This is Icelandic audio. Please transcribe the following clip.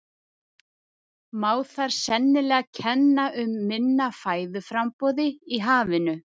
Má þar sennilega kenna um minna fæðuframboði í hafinu.